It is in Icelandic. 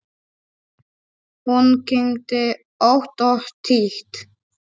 Hún kyngdi ótt og títt.